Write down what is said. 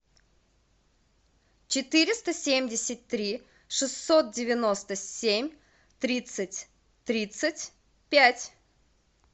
четыреста семьдесят три шестьсот девяносто семь тридцать тридцать пять